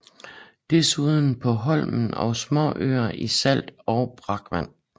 Desuden på Holme og småøer i salt og brakvand